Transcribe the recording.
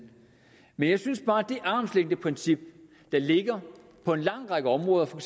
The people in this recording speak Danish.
men jeg synes bare at det armslængdeprincip der ligger på en lang række områder for